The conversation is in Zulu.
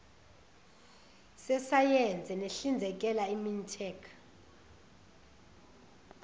sesayense sihlinzekela imintek